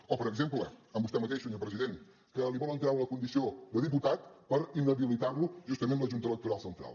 o per exemple amb vostè mateix senyor president que li volen treure la condició de diputat per inhabilitar lo justament la junta electoral central